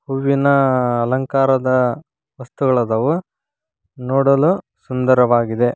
ಹೂವಿನ ಅಲಂಕಾರದ ವಸ್ತುಗಳದಾವು ನೋಡಲು ಸುಂದರವಾಗಿದೆ.